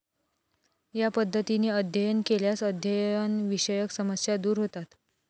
या पद्धतीने अध्ययन केल्यास अध्ययन विषयक समस्या दूर होतात.